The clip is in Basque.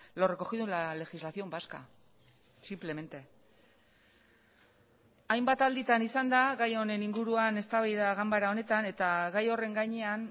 lo recogido en la legislación vasca simplemente hainbat alditan izan da gai honen inguruan eztabaida ganbara honetan eta gai horren gainean